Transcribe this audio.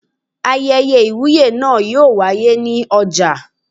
Ayẹyẹ Ìwúyè náà yóò wáyé ní ọjà.